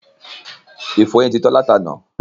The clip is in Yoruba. Ìfọyín ti tán láti àná